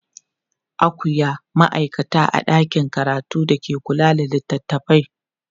akwia maaikata a ɗakin karatu da ke kula da littatafai